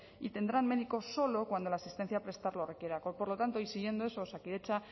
y tendrán médico solo cuando la asistencia a prestar lo requiera por lo tanto siguiendo eso osakidetza